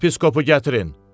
Yepiskopu gətirin.